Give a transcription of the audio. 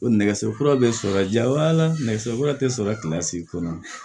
O nɛgɛso kura bɛ sɔrɔ ja nɛgɛso kura tɛ sɔrɔ